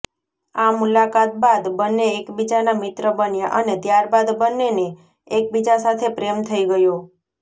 આ મુલાકાત બાદ બંને એકબીજાના મિત્ર બન્યા અને ત્યારબાદ બંનેને એકબીજા સાથે પ્રેમ થઈ ગયો